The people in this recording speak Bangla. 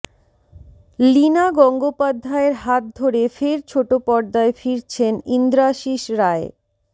লীনা গঙ্গোপাধ্যায়ের হাত ধরে ফের ছোট পর্দায় ফিরছেন ইন্দ্রাশিস রায়